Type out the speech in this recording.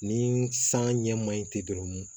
Ni san ɲɛ ma ɲi ten dɔrɔn